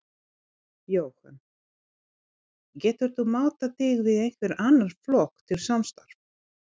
Jóhann: Geturðu mátað þig við einhvern annan flokk til samstarfs?